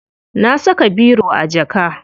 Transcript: Na saka biro a jaka.